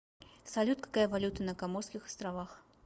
салют какая валюта на коморских островах